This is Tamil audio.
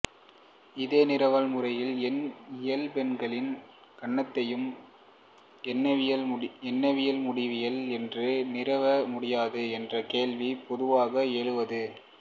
இதே நிறுவல் முறையில் ஏன் இயல்பெண்களின் கணத்தையும் எண்ணவியலா முடிவிலி என்று நிறுவ முடியாது என்ற கேள்வி பொதுவாக எழுவது